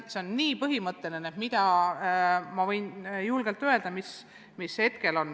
See on nii põhimõtteline küsimus.